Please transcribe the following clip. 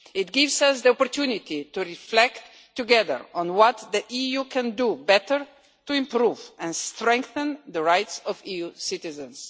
It gives us the opportunity to reflect together on what the EU can do better to improve and strengthen the rights of EU citizens.